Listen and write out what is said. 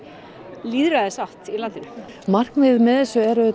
lýðræðisátt í landinu markmiðið með þessu er